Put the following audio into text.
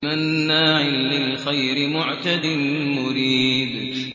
مَّنَّاعٍ لِّلْخَيْرِ مُعْتَدٍ مُّرِيبٍ